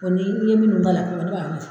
Ɔ ni min b'a la ne b'a dusu.